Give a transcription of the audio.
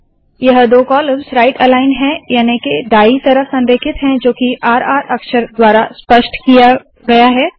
यह दो columns right aligned है याने के दाईं तरफ संरेखित है जो की र र अक्षर द्वारा स्पष्ट किया गया है